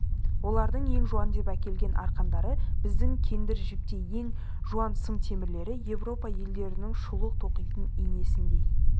олардың ең жуан деп әкелген арқандары біздің кендір жіптей ең жуан сым темірлері еуропа әйелдерінің шұлық тоқитын инесіндей